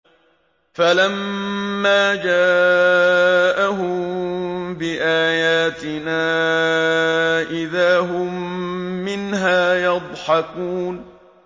فَلَمَّا جَاءَهُم بِآيَاتِنَا إِذَا هُم مِّنْهَا يَضْحَكُونَ